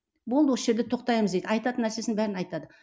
болды осы жерде тоқтаймыз дейді айтатын нәрсесін бәрін айтады